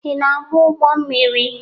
Ị na-agba ụgbọ mmiri?